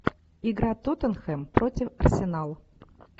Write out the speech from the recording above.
игра тоттенхэм против арсенал